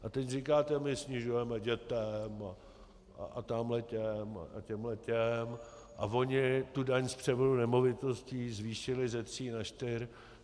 A teď říkáte "my snižujeme dětem a tamhle těm a těmhle těm a oni tu daň z převodu nemovitostí zvýšili ze tří na čtyři".